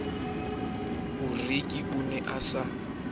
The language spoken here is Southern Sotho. boreki o ne a sa